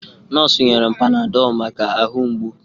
Nọọsụ nyere m panadọlụ maka ahụ mgbu.